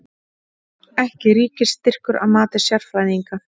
Ekki ríkisstyrkur að mati sérfræðinga